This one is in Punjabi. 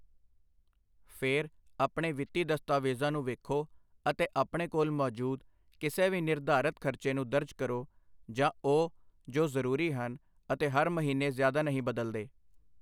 ਫਿਰ, ਆਪਣੇ ਵਿੱਤੀ ਦਸਤਾਵੇਜ਼ਾਂ ਨੂੰ ਵੇਖੋ ਅਤੇ ਆਪਣੇ ਕੋਲ ਮੌਜੂਦ ਕਿਸੇ ਵੀ ਨਿਰਧਾਰਤ ਖਰਚੇ ਨੂੰ ਦਰਜ ਕਰੋ, ਜਾਂ ਉਹ ਜੋ ਜ਼ਰੂਰੀ ਹਨ ਅਤੇ ਹਰ ਮਹੀਨੇ ਜ਼ਿਆਦਾ ਨਹੀਂ ਬਦਲਦੇ।